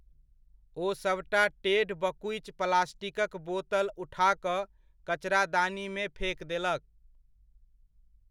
ओ सभटा टेढ़ बकुचि प्लास्टिकक बोतल उठा कऽ कचरादानीमे फेक देलक।